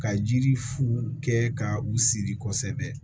Ka yiri fu kɛ ka u siri kosɛbɛ